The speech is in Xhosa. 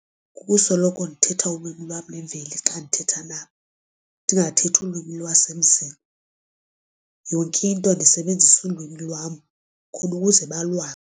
Kukusoloko ndithetha ulwimi lwam lwemveli xa ndithetha nabo. Ndingathethi ulwimi lwasemzini yonke into ndisebenzise ulwimi lwam khona ukuze balwazi.